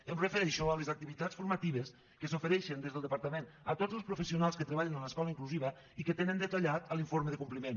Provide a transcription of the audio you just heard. em refereixo a les activitats formatives que s’ofereixen des del departament a tots els professionals que treballen en l’escola inclusiva i que tenen detallat l’informe de compliment